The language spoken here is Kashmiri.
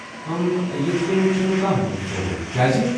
امم، یتھہٕ کٔنہِ چھٗنہٕ نہٕ کانٛہہ منصوٗبہٕ، کیاٚزِ؟